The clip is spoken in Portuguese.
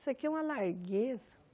Isso aqui é uma largueza.